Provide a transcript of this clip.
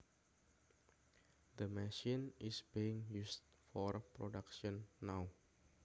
The machine is being used for production now